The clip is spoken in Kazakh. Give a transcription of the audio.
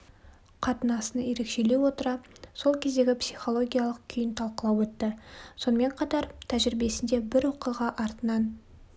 қатынасын ерекшелей отыра сол кездегі психологиялық күйін талқылап өтті сонымен қатар тәжірибесінде бір оқиға артынан